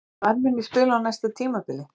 Hvar mun ég spila á næsta tímabili?